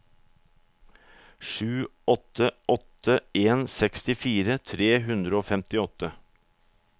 sju åtte åtte en sekstifire tre hundre og femtiåtte